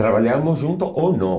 Trabalhávamos juntos ou não.